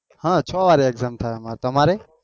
હ છો વાર exam અમારે તમારે?